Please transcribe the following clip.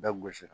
Bɛɛ gosi